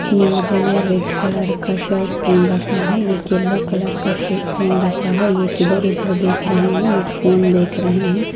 नौ जने red colour के shirt पहेन रखा है एख येल्लो कलर का शर्ट पहेन रखा है एख इधर-उधर देख रहे है एक फोन देख रहे है।